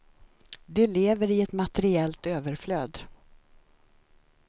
De lever i ett materiellt överflöd.